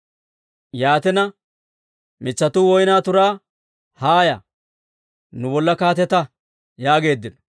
«Yaatina, mitsatuu woyniyaa turaa, ‹Haaya, nu bolla kaatetta› yaageeddino.